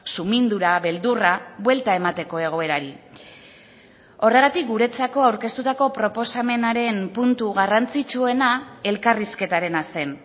sumindura beldurra buelta emateko egoerari horregatik guretzako aurkeztutako proposamenaren puntu garrantzitsuena elkarrizketarena zen